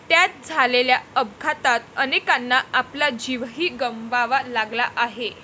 त्यात झालेल्या अपघातात अनेकांना आपला जीवही गमवावा लागला आहे.